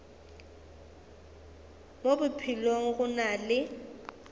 mo bophelong go na le